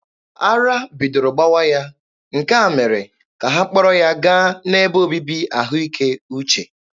Ara bidoro gbawa ya, nke a mere ka ha kpọrọ ya gaa n'ebe obibi ahụike uche.